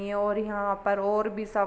और यहाँ पर और भी सब --